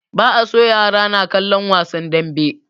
Ba a so yara na kallan wasan danbe